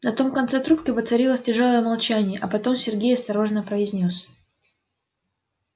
на том конце трубке воцарилось тяжёлое молчание а потом сергей осторожно произнёс